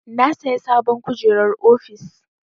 Na saya sabon kujerar ofis.